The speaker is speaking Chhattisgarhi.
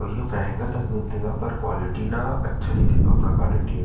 अऊ इहाँ महंगा तक मिलथे ग पर क्वीलिटी न अच्छा रईथे कपड़ा क्वालिटी ह--